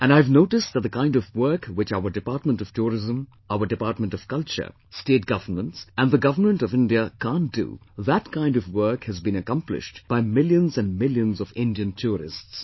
And I have noticed that the kind of work which our Department of Tourism, our Department of Culture, State Governments and the Government of India can't do, that kind of work has been accomplished by millions and millions of Indian tourists